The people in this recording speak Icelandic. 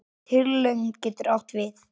Tilraun getur átt við